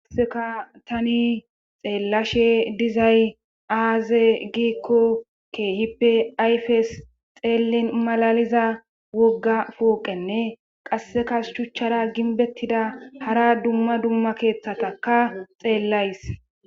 Qasseka tani xeellashe dizay aaze giikko keehippe ayfes xeellin malaliza wogga pooqenne qasseka shuchchara ginbettida hara dumma dumma keeththataka xeellays